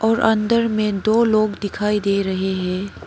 और अंदर में दो लोग दिखाई दे रहे हैं।